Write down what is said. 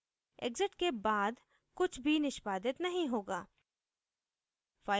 exit के बाद कुछ भी निष्पादित नहीं होगा